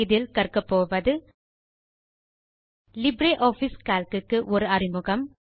இதில் கற்கபோவது LibreOffice Calc க்கு ஒரு அறிமுகம்